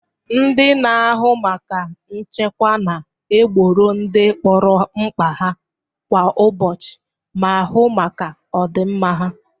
Ndị na-ahụ maka nchekwa na egboro ndị mkpọrọ mkpa ha kwa ụbọchị ma hu maka ọ dị mma ha.